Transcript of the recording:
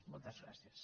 moltes gràcies